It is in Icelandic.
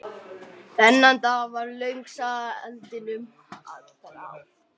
Þennan dag varð löng saga eldinum að bráð.